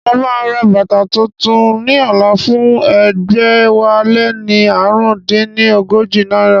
Mo máa ra bàtà tuntun ní ọ̀la fún ẹgbẹ̀wáléní ààrùn dín ní ọgọ́jọ náírà